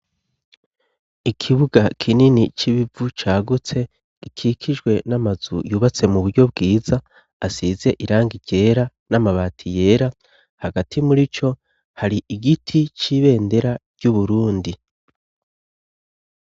ikibuga kinini c'ibivu cagutse gikikijwe n'amazu yubatse mu buryo bwiza asize irangi ryera n'amabati yera hagati muri co hari igiti c'ibendera ry'uburundi